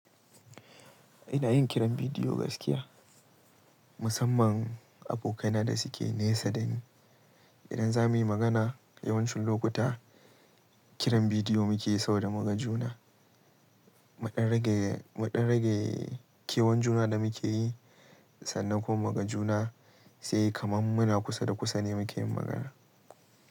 Ina yin kiran bidiyo gaskiya, musamman abokaina da suke nesa dani. Idan za mu yi magana yawancin lokuta kiran bidiyo muke yi saboda mugajuna. Muɗan rage, muɗan rage kewan juna da muke yi sannan kuma mugajuna sai kaman muna kusa da kusa ne muke yin magana.